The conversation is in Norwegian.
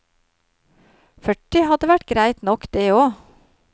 Førti hadde vært greit nok, det og.